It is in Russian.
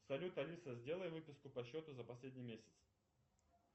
салют алиса сделай выписку по счету за последний месяц